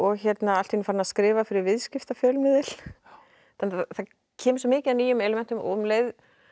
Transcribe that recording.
allt í einu farin að skrifa fyrir viðskiptafjölmiðil það kemur svo mikið af nýjum elementum og um leið